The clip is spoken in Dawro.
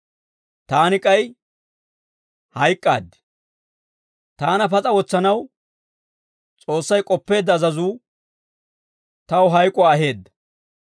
taani k'ay hayk'k'aaddi; taana pas'a wotsanaw S'oossay k'oppeedda azazuu, taw hayk'uwaa aheedda.